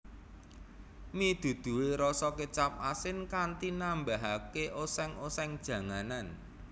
Mi duduhe rasa kecap asin kanthi nambahake oseng oseng janganan